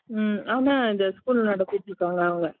உம் ஆனா இந்த school நடத்திட்டு இருக்காங்க அவங்க